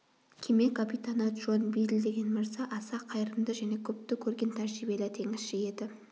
кеме капитаны джон бидль деген мырза аса қайырымды және көпті көрген тәжірибелі теңізші еді